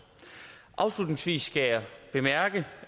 afslutningsvis skal jeg bemærke